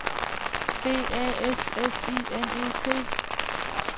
B A S S I N E T